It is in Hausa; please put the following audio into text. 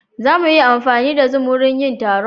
Za mu iya amfani da zoom wurin yin taron.